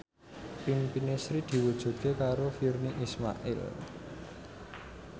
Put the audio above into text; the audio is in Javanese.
impine Sri diwujudke karo Virnie Ismail